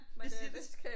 Jeg siger det